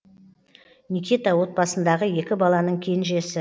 никита отбасындағы екі баланың кенжесі